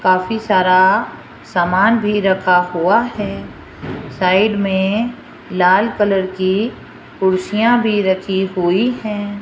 काफी सारा सामान भी रखा हुआ है साइड में लाल कलर की कुर्सियां भी रखी हुई हैं।